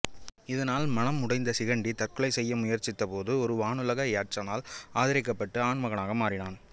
இதனால் மனம் உடைந்த சிகண்டி தற்கொலை செய்ய முயற்சித்த போது ஒரு வானுலக யட்சனால் ஆதரிக்கப்பட்டு ஆண் மகனாக மாறினான்